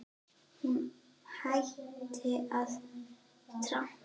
Hún hætti að trampa.